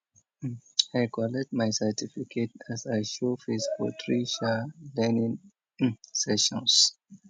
um i collect my certificate as i show face for three um learning um sessions